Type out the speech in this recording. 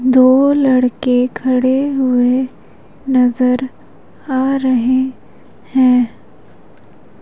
दो लड़के खड़े हुए नजर आ रहे हैं।